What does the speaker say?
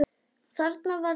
Þarna var lausn.